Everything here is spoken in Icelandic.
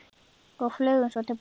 Og flugum svo til baka.